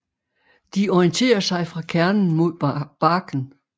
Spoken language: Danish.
De orienterer sig fra kernen mod barken